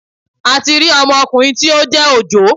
A ti rí ọmokùnrin tí ó jẹ́ Òjó